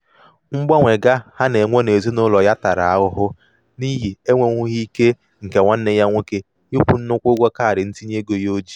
mgbanwe ga ha na-enwe n'ezinaụlọ ya tara ahụhụ n'ihi enwenwughi ike nke nwanne ya nwoke ịkwụ nnukwu ụgwọ kaadị ntinyeego ya o ji.